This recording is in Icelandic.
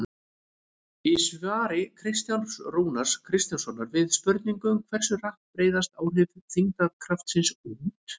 Í svari Kristjáns Rúnars Kristjánssonar við spurningunni Hversu hratt breiðast áhrif þyngdarkraftsins út?